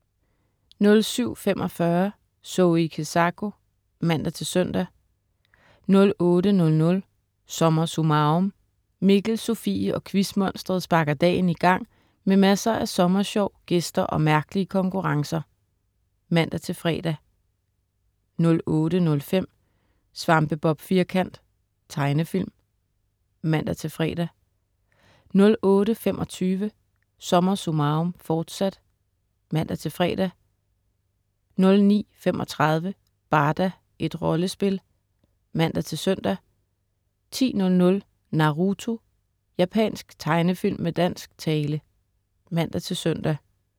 07.45 Zoe Kezako (man-søn) 08.00 SommerSummarum. Mikkel, Sofie og Quizmonsteret sparker dagen i gang med masser af sommersjov, gæster og mærkelige konkurrencer (man-fre) 08.05 Svampebob Firkant. Tegnefilm (man-fre) 08.25 SommerSummarum, forsat (man-fre) 09.35 Barda, et rollespil (man-søn) 10.00 Naruto. Japansk tegnefilm med dansk tale (man-søn)